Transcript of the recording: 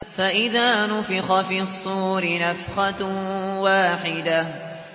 فَإِذَا نُفِخَ فِي الصُّورِ نَفْخَةٌ وَاحِدَةٌ